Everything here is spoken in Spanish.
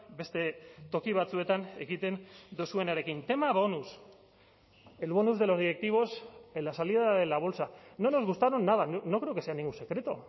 beste toki batzuetan egiten duzuenarekin tema bonus el bonus de los directivos en la salida de la bolsa no nos gustaron nada no creo que sea ningún secreto